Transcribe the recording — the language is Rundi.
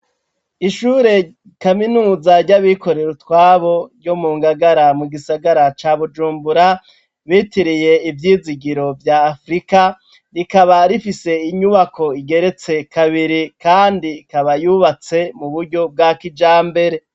Ishure kaminuza ryabikorera utwabo ryo mu ngagara mugisagara ca Bujumbura bitiriye ivyizigiro vya Afrika, rikaba rifise inyubako igeretse kabiri kandi ikaba yubatse muburyo bwa kijambere.